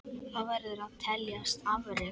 Það verður að teljast afrek.